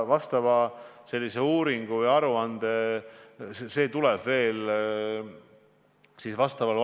Aitäh, lugupeetud eesistuja!